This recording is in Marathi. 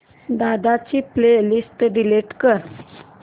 दादा ची प्ले लिस्ट डिलीट कर